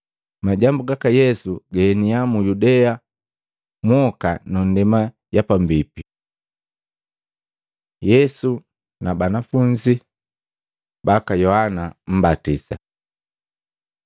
Majambu gaka Yesu gaeniya mu Yudea mwoka na ndema ya pambipi. Yeau na banafunzi baka Yohana Mmbatisa Matei 11:2-19